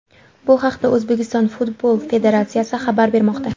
Bu haqda O‘zbekiston Futbol federatsiyasi xabar bermoqda .